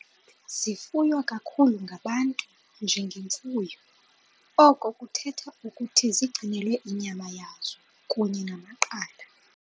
Zifuywa kakhulu ngabantu njengemfuyo, oko kuthetha ukuthi zigcinelwa inyama yazo kunye namaqanda.